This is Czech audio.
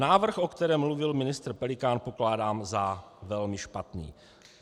Návrh, o kterém mluvil ministr Pelikán, pokládám za velmi špatný.